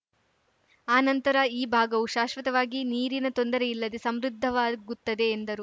ಆ ನಂತರ ಈ ಭಾಗವು ಶಾಶ್ವತವಾಗಿ ನೀರಿನ ತೊಂದರೆ ಇಲ್ಲದೆ ಸಮೃದ್ಧವಾಗುತ್ತದೆ ಎಂದರು